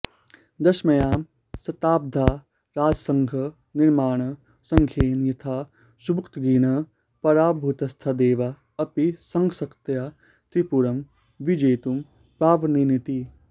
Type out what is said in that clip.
दशम्यां शताब्द्यां राजसंघं निर्माय धङ्गेन यथा सुबुक्तगीनः पराभूतस्तथा देवा अपि संघशक्त्या त्रिपुरं विजेतुं प्राभवन्निति